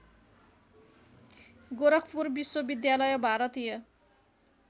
गोरखपुर विश्वविद्यालय भारतीय